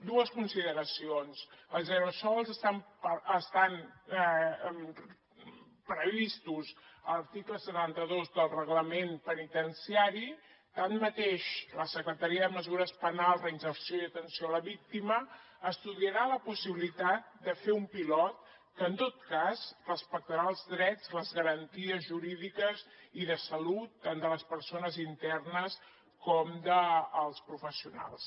dues consideracions els aerosols estan previstos a l’article setanta dos del reglament penitenciari tanmateix la secretaria de mesures penals reinserció i atenció a la víctima estudiarà la possibilitat de fer un pilot que en tot cas respectarà els drets les garanties jurídiques i de salut tant de les persones internes com dels professionals